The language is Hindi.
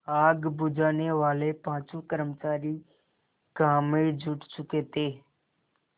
आग बुझानेवाले पाँचों कर्मचारी काम में जुट चुके थे